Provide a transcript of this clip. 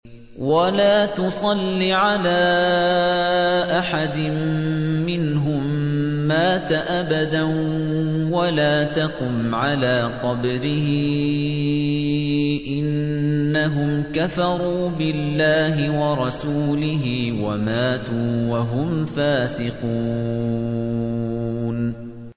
وَلَا تُصَلِّ عَلَىٰ أَحَدٍ مِّنْهُم مَّاتَ أَبَدًا وَلَا تَقُمْ عَلَىٰ قَبْرِهِ ۖ إِنَّهُمْ كَفَرُوا بِاللَّهِ وَرَسُولِهِ وَمَاتُوا وَهُمْ فَاسِقُونَ